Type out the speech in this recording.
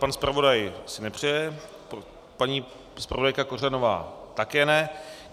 Pan zpravodaj si nepřeje, paní zpravodajka Kořanová také ne.